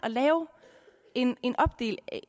at lave en en opdeling